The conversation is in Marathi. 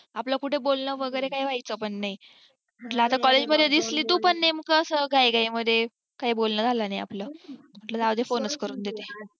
आपल कुठ बोलणं वगेरे काही व्हायचं पण नाही म्हंटल आता collage मध्ये दिसली तू पण नेमक अस घाईघाई मध्ये काही बोलणं नाही आपल म्हंटलं जाऊ दे phone च करून घेते